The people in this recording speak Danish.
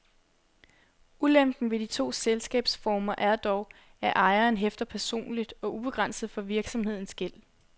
Ulempen ved de to selskabsformer er dog, at ejeren hæfter personligt og ubegrænset for virksomhedens gæld.